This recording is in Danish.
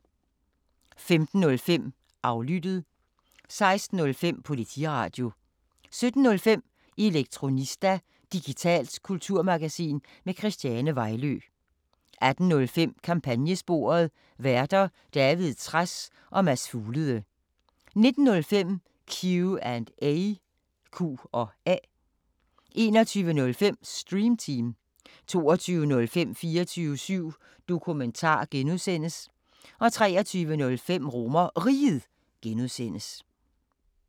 15:05: Aflyttet 16:05: Politiradio 17:05: Elektronista – digitalt kulturmagasin med Christiane Vejlø 18:05: Kampagnesporet: Værter: David Trads og Mads Fuglede 19:05: Q&A 21:05: Stream Team 22:05: 24syv Dokumentar (G) 23:05: RomerRiget (G)